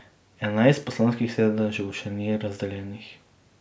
Enajst poslanskih sedežev še ni razdeljenih.